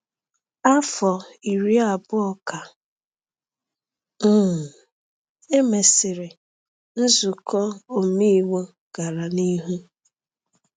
Afọ iri abụọ ka um e mesịrị, nzuko omeiwu gara n’ihu.